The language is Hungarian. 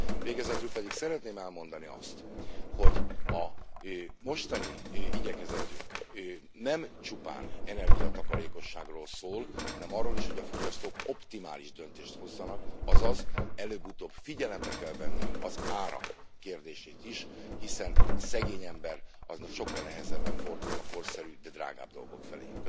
Végezetül pedig szeretném elmondani, hogy a mostani igyekezetünk nem csupán energiatakarékosságról szól, hanem arról is, hogy a fogyasztók optimális döntést hozzanak, azaz előbb utóbb figyelembe kell venni az árak kérdését is, hiszen a szegény ember sokkal nehezebben fordul a korszerűbb, de drágább dolgok felé.